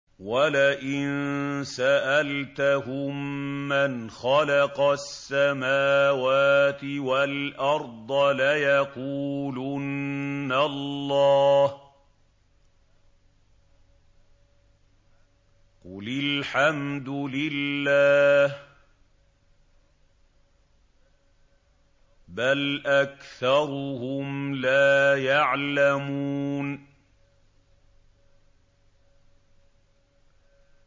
وَلَئِن سَأَلْتَهُم مَّنْ خَلَقَ السَّمَاوَاتِ وَالْأَرْضَ لَيَقُولُنَّ اللَّهُ ۚ قُلِ الْحَمْدُ لِلَّهِ ۚ بَلْ أَكْثَرُهُمْ لَا يَعْلَمُونَ